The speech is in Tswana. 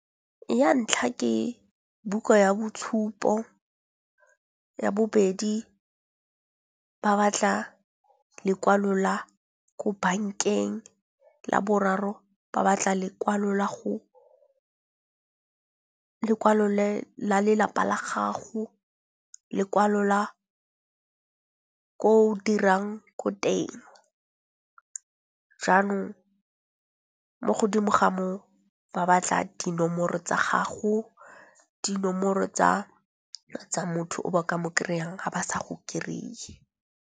Ya ntlha ke buka ya boitshupo, ya bobedi ba batla lekwalo la ko bank-eng, la boraro ba batla lekwalo la go lekwalo la lelapa la gago, lekwalo la ko dirang ko teng. Jaanong mo godimo ga moo ba batla dinomoro tsa gago, dinomoro tsa tsa motho o ba ka mo kry-ang ha ba sa go kry-e.